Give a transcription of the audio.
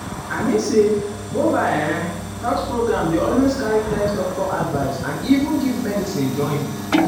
i mean say mobile um health program dey always carry test doctor advice and even give medicine join. join.